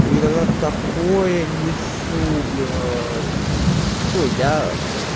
иногда такое несу блять ну я